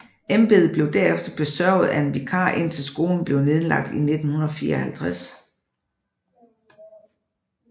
Embedet blev derefter besørget af en vikar indtil skolen blev nedlagt i 1954